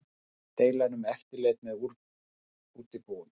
Deila um eftirlit með útibúum